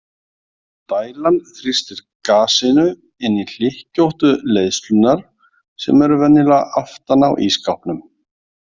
Dælan þrýstir gasinu inn í hlykkjóttu leiðslurnar sem eru venjulega aftan á ísskápnum.